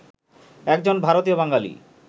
একজন ভারতীয় বাঙালি